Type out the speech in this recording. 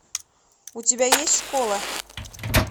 у тебя есть школа